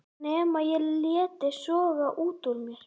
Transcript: Nema ég léti soga út úr mér.